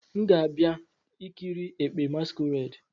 M ga-abia ikiri ekpe" masquerade."